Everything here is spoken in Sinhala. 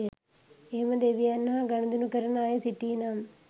එහෙම දෙවියන් හා ගනුදෙනු කරන අය සිටීනම්